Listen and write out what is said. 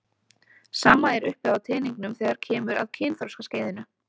Sama er uppi á teningnum þegar kemur að kynþroskaskeiðinu.